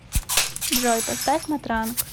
джой поставь матранг